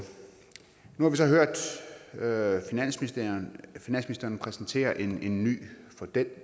nu har vi så hørt finansministeren præsentere en en ny model